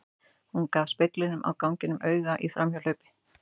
Hún gaf speglinum á ganginum auga í framhjáhlaupi.